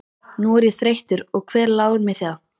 Nú er ég þreyttur og hver láir mér það.